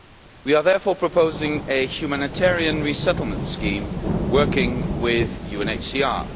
We are therefore proposing a humanitarian resettlement scheme working with UNHCR.